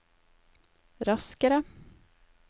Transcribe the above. raskere